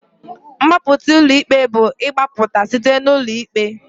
Mgbapụta ulọ ikpe bu igbapụta site n'ụlọ ikpe.